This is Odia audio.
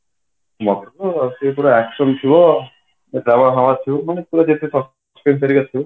ମତେ ତ ସେ ପୁରା action ଥିବ ମାନେ ପୁଅ ଯେତେ seen କରିବାର ଥିବ